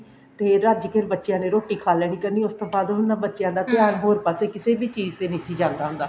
ਤੇ ਰੱਜ ਕੇ ਫੇਰ ਬੱਚਿਆ ਨੇ ਰੋਟੀ ਖਾ ਲੈਣੀ ਕਰਨੀ ਉਸ ਤੋਂ ਬਾਅਦ ਨਾ ਬੱਚਿਆ ਦਾ ਧਿਆਨ ਹੋਰ ਪਾਸੇ ਕਿਸੇ ਵੀ ਚੀਜ਼ ਤੇ ਨੀ ਸੀ ਜਾਂਦਾ ਹੁੰਦਾ